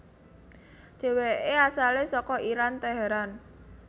Dheweke asale saka Iran Teheran